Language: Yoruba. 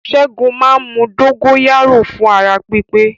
Ṣẹ́gun máa ń mu dógóyárò fún ara pípé